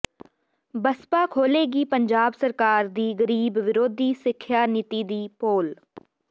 ਬਸਪਾ ਖੋਲ੍ਹੇਗੀ ਪੰਜਾਬ ਸਰਕਾਰ ਦੀ ਗ਼ਰੀਬ ਵਿਰੋਧੀ ਸਿੱਖਿਆ ਨੀਤੀ ਦੀ ਪੋਲ